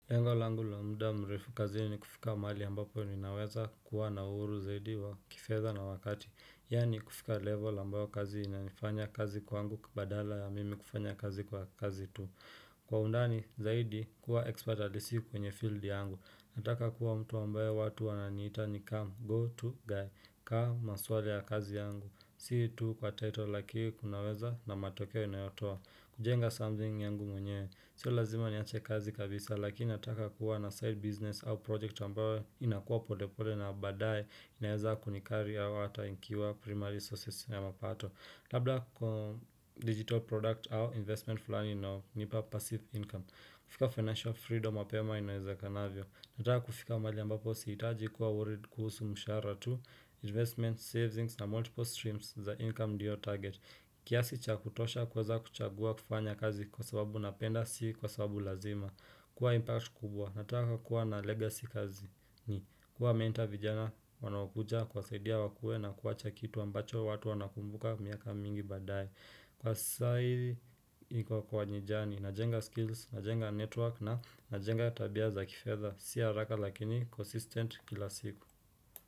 Lengo laangu lo mda mrefu kazini ni kufika mahali ambapo ninaweza kuwa na uhuru zaidi wa kifedha na wakati, yaani kufika level ambayo kazi inanifanya kazi kwangu badala ya mimi kufanya kazi kwa kazi tu. Kwa undani zaidi kuwa expert halisi kwenye field yangu. Nataka kuwa mtu ambayo watu wananiita ni come go to guy come maswala ya kazi yangu. Si tu kwa title lakini kunaweza na matokeo inayotoa. Kujenga something yangu mwenye. Sio lazima niache kazi kabisa lakini nataka kuwa na side business au project ambayo inakuwa polepole na baadaye inaeza kunicarry au ata ikiwa primary sources ya mapato. Labda kwa digital product au investment fulani inaonipa passive income. Kufika financial freedom mapema inaezekanavyo. Nataka kufika mahali ambapo siitaji kuwa worried kuhusu mshahara tu, investment savings na multiple streams za income ndio target. Kiasi cha kutosha kwaza kuchagua kufanya kazi kwa sababu napenda si kwa sababu lazima. Kuwa impact kubwa, nataka kuwa na legacy kazi ni kuwamentor vijana wanaokuja kuwasaidia wakue na kuwacha kitu ambacho watu wanakumbuka miaka mingi baadae Kwa saa hii najenga skills, najenga network na najenga tabia za kifedha si haraka lakini consistent kila siku.